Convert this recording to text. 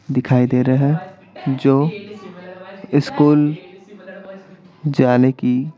दिखाई दे रहे हैं जो स्कूल जाने की--